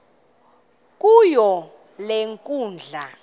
kuyo le nkundla